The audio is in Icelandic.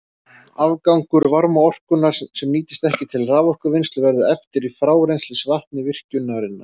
Afgangur varmaorkunnar, sem nýtist ekki til raforkuvinnslu, verður eftir í frárennslisvatni virkjunarinnar.